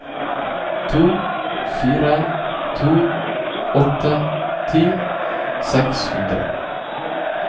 to fire to åtte ti seks hundre